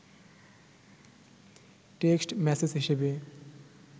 text message হিসেবে